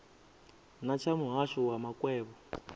na tsha muhasho wa makwevho